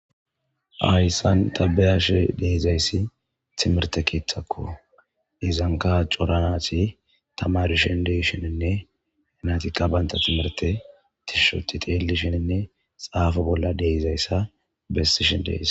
Hayssan ta be'ashe dizayssi tmirtte keeththakko. Izankka cora naati tamaarishin de'ishininne naatikka banta timirte tishshi ooththi xeellishenne xaafo bolla de'izayssa bessishin deesi.